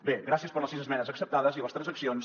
bé gràcies per les sis esmenes acceptades i les transaccions